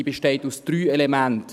Sie besteht aus drei Elementen.